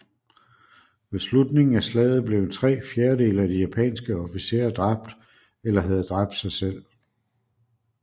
Ved slutningen af slaget blev tre fjerdedele af de japanske officerer dræbt eller havde dræbt sig selv